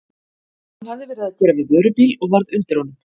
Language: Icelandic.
Hann hafði verið að gera við vörubíl og varð undir honum.